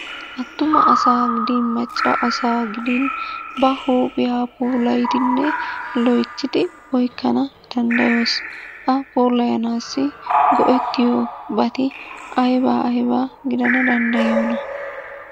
Attuma asaa gidin macca asaa gidin ba huuphiya puulayidi loyttidi oyqqana danddayees. A puulayanaassi go'ettiyobati aybaa aybaa gidana danddayiyonaa?